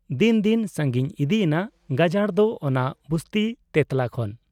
ᱫᱤᱱ ᱫᱤᱱ ᱥᱟᱺᱜᱤᱧ ᱤᱫᱤᱭᱮᱱᱟ ᱜᱟᱡᱟᱲ ᱫᱚ ᱚᱱᱟ ᱵᱩᱥᱛᱤ ᱛᱮᱛᱞᱟ ᱠᱷᱚᱱ ᱾